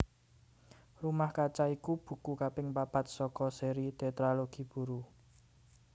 Rumah Kaca iku buku kaping papat saka séri Tétralogi Buru